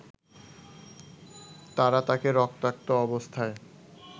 তারা তাকে রক্তাক্ত অবস্থায়